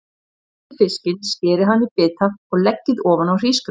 Hreinsið fiskinn, skerið hann í bita og leggið ofan á hrísgrjónin.